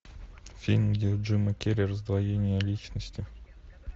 фильм где у джима керри раздвоение личности